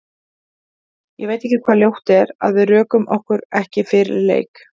Ég veit ekki hvað ljótt er, að við rökum okkur ekki fyrir leik?